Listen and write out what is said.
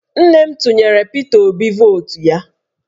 Nne m tụnyere Pita Obi vootu ya